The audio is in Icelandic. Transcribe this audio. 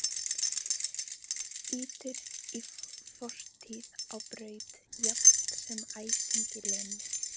Ýtir fortíð á braut jafnt sem æsingi Lenu.